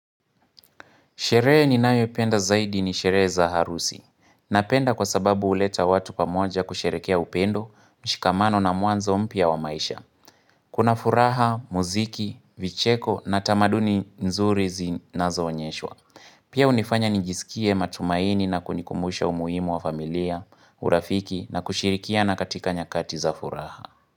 Sherehe ni nayo ipenda zaidi ni sherehe za harusi. Napenda kwa sababu huleta watu pa moja kusherekea upendo, mshikamano na mwanzo mpya wa maisha. Kuna furaha, muziki, vicheko na tamaduni nzuri zinazoonyeshwa. Pia hunifanya nijisikie matumaini na kunikumbusha umuhimu wa familia, urafiki na kushirikiana katika nyakati za furaha.